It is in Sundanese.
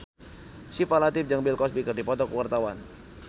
Syifa Latief jeung Bill Cosby keur dipoto ku wartawan